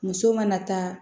Muso mana taa